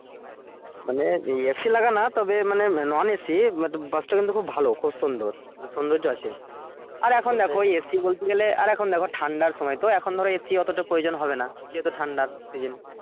মানে A. C. লাগা না তবে মানে non A. C. but bus টা কিন্তু খুব ভালো খুব সুন্দর সৌন্দর্য আছে আর এখন দেখো ওই A. C. বলতে গেলে আর এখন দেখো ঠান্ডার সময় তো এখন ধরো A. C. অতটা প্রয়োজন হবে না যেহুতু ঠান্ডা সেই জন্য